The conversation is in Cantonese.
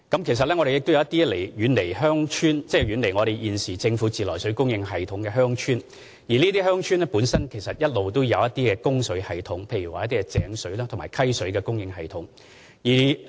其實，一些遠離政府自來水供應系統的鄉村一直也設有供水系統，例如井水和溪水供應系統。